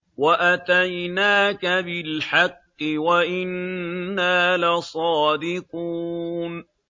وَأَتَيْنَاكَ بِالْحَقِّ وَإِنَّا لَصَادِقُونَ